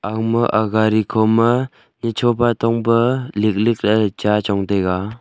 agma ag gari khoma nichopa tongpa liklik lahye ley cha chongtaiga.